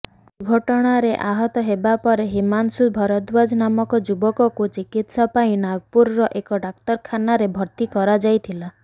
ଦୁର୍ଘଟଣାରେ ଆହତ ହେବାପରେ ହିମାଂଶୁ ଭରଦ୍ୱାଜ ନାମକ ଯୁବକ ଚିକିତ୍ସା ପାଇଁ ନାଗପୁରର ଏକ ଡାକ୍ତରଖାନାରେ ଭର୍ତ୍ତି କରାଯାଇଥିଲା